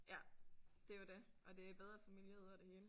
Ja det er jo det og det er bedre for miljøet og det hele